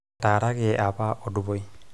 etaaraki apa Odupoi